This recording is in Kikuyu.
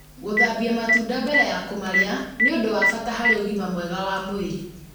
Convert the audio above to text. Gũthambia matunda mbere ya kũmarĩa nĩ ũndũ wa bata harĩ ũgima mwega wa mwĩrĩ.